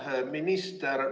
Hea minister!